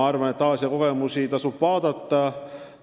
Aasia kogemusi tasub laiemalt uurida.